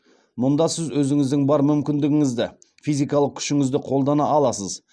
мұнда сіз өзіңіздің бар мүмкіндігіңізді физикалық күшіңізді қолдана аласыз